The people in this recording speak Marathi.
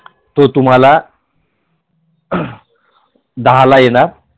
दहाला येणार तो तुम्हाला